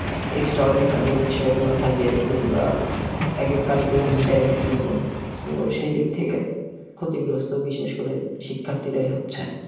বিষয়গুলা থাকে যেগুলার একেক একেক রকম সেদিক থেকে ক্ষতিগ্রস্ত বিশেষকরে শিক্ষার্থীরাই হচ্ছে